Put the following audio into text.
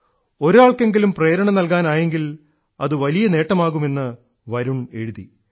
ഒരാൾക്കെങ്കിലും പ്രേരണ നൽകാനായെങ്കിൽ അതു വലിയ നേട്ടമാകും എന്ന് വരുൺ എഴുതി